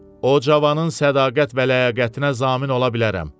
O cavanın sədaqət və ləyaqətinə zamin ola bilərəm.